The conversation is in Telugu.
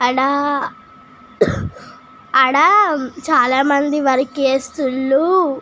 ఆడ ఆడ చాల మంది వర్క్ చేస్తులు.